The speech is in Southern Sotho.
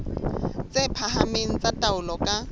tse phahameng tsa taolo ka